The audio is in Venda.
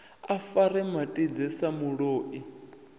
a fare matidze sa muloi